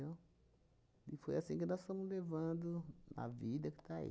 E foi assim que nós fomos levando a vida que está aí.